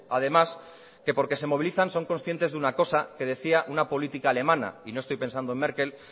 además que porque se movilizan son conscientes de una cosa que decía una política alemana y no estoy pensando en merkel